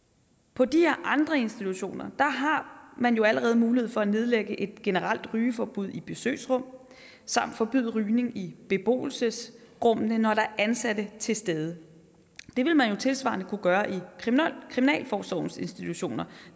på de her andre institutioner har man jo allerede mulighed for at nedlægge et generelt rygeforbud i besøgsrum samt forbyde rygning i beboelsesrummene når der er ansatte til stede det vil man jo tilsvarende kunne gøre i kriminalforsorgens institutioner